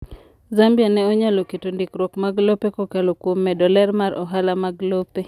Zambia ne onyalo keto ndikruok mag lope kokalo kuom medo ler mar ohala mag lope.